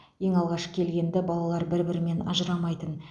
ең алғаш келгенді балалар бір бірімен ажырамайтын